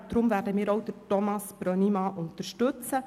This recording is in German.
Darum werden wir Thomas Brönnimann unterstützen.